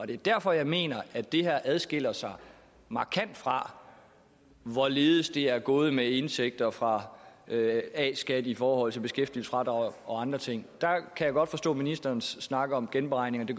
det er derfor jeg mener at det her adskiller sig markant fra hvorledes det er gået med indtægter fra a skat i forhold til beskæftigelsesfradrag og andre ting der kan jeg godt forstå ministerens snak om de beregninger det